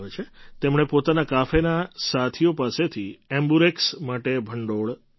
તેમણે પોતાના કાફેના સાથીઓ પાસેથી એમ્બ્યુરેક્સ માટે ભંડોળ મેળવ્યું